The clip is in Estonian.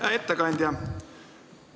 Hea ettekandja!